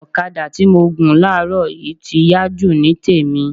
Ọ̀kadà tí mo gùn láàrọ̀ yìí ti yá jù ní tèmi